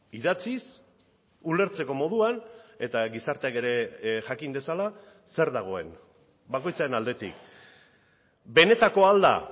idatziz ulertzeko moduan eta gizarteak ere jakin dezala zer dagoen bakoitzaren aldetik benetakoa al da